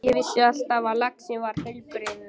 Ég vissi alltaf að laxinn var heilbrigður.